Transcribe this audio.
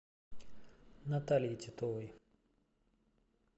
наталье титовой